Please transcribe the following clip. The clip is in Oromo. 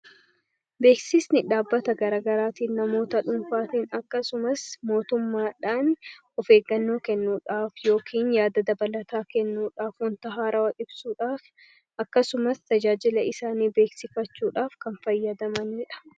Beeksisni dhaabbata garagaraatiin, namoota dhuunfaatiin akkasumas mootummaadhaan of eeggannoo kennuudhaaf yookiin yaada dabalataa kennuudhaaf, wanta haarawa ibsuudhaaf akkasumas tajaajila isaanii beeksifachuudhaaf kan fayyadamaniidha.